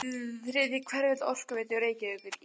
Þriðji hverfill Orkuveitu Reykjavíkur í